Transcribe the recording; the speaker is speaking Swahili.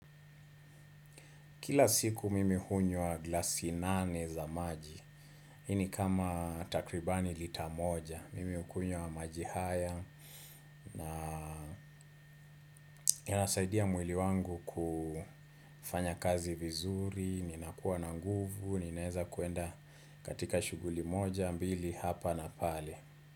Kila siku mimi hunywa glasi nane za maji. Hii ni kama takribani lita moja. Mimi hukunywa maji haya. Na inasaidia mwili wangu kufanya kazi vizuri. Ninakuwa na nguvu. Ninaweza kwenda katika shughuli moja, mbili, hapa na pale.